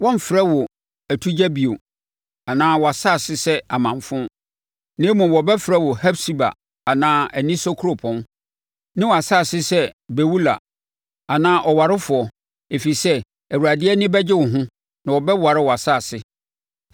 Wɔremfrɛ wo atugya bio, anaa wʼasase sɛ amanfo. Na mmom wɔbɛfrɛ wo Hefsiba anaa anisɔ Kuropɔn ne wʼasase sɛ Beula anaa ɔwarefoɔ ɛfiri sɛ Awurade ani bɛgye wo ho, na ɔbɛware wʼasase.